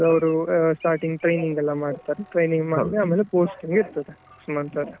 ಅದ್ ಅವ್ರು starting training ಎಲ್ಲ ಮಾಡ್ತಾರೆ starting training ಮಾಡಿ ಆಮೇಲೆ posting ಇರ್ತದೆ ಸುಮಂತ್ ಅವ್ರೆ .